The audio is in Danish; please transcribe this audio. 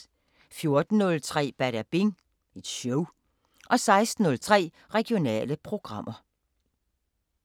14:03: Badabing Show 16:03: Regionale programmer